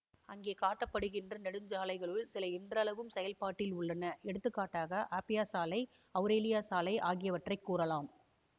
அங்கே காட்டப்படுகின்ற நெடுஞ்சாலைகளுள் சில இன்றளவும் செயல்பாட்டில் உள்ளன எடுத்துக்காட்டாக ஆப்பியா சாலை அவுரேலியா சாலை ஆகியவற்றை கூறலாம்